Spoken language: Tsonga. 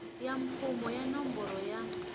ya mfumo ya nomboro ya